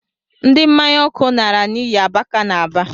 Ndi mmanya ọkụ nara n’iyi abaka n’Aba